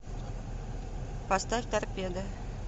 поставь торпеда